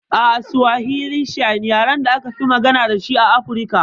A'a Suwahili shine yaren da akafi magana dashi a Afirka.